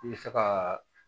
I bɛ se ka